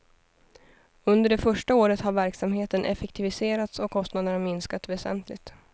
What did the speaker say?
Under det första året har verksamheten effektiviserats och kostnaderna minskat väsentligt.